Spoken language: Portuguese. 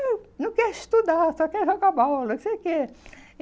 Não não quer estudar, só quer jogar bola, não sei o quê.